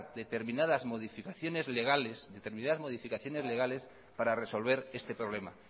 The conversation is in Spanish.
determinadas modificaciones legales para resolver este problema